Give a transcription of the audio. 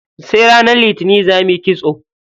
Sai ranar litinin za muyi kitso.